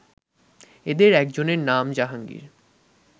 এদের একজনের নাম জাহাঙ্গীর